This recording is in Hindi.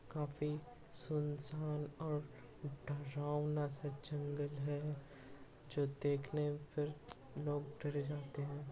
काफी सून-सान और डरावना सा जंगल है जो देखने पर लोग डरे जाते है।